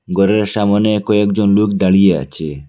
ঘরের সামোনে কয়েকজন লোক দাঁড়িয়ে আছে।